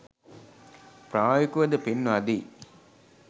ප්‍රායෝගිකවද පෙන්වා දෙයි.